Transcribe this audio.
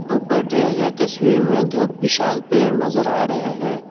ऊपर दिए गए तस्वीर में दो विशाल पेड़ नजर आ रहे हैं।